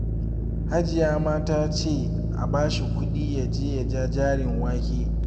Hajiya ma ta ce a ba shi kuɗi ya je ya ja jarin wake